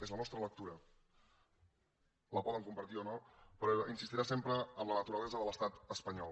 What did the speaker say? és la nostra lectura la poden compartir o no però insistirà sempre en la naturalesa de l’estat espanyol